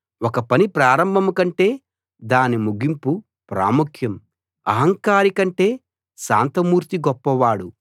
ఒక పని ప్రారంభం కంటే దాని ముగింపు ప్రాముఖ్యం అహంకారి కంటే శాంతమూర్తి గొప్పవాడు